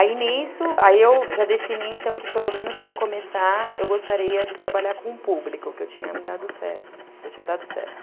Aí, nisso, aí eu já defini, então, que pelo menos para começar, eu gostaria de trabalhar com o público, que eu tinha me dado certo, que eu tinha dado certo.